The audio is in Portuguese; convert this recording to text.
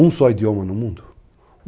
Um só idioma no mundo?